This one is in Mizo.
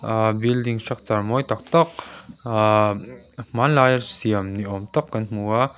ahh building structur mawi tak tak umm hmanlaia siam ni awm tak kan hmu a.